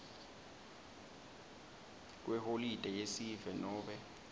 kweholide yesive nobe